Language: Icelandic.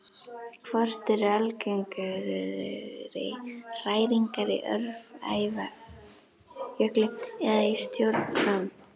Hvort eru algengari hræringar, í Öræfajökli eða í stjórn Fram?